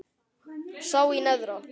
sá í neðra